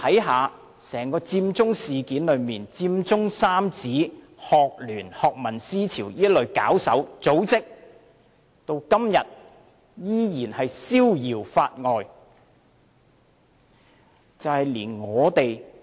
看佔中整件事，佔中三子、香港專上學生聯會、學民思潮這類搞手、組織，至今依然逍遙法外。